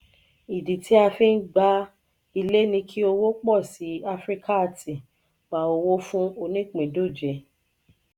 ìdí a fi ń gba ilé ni kí òwò posi áfríkààti pá owó fún onípindòjé.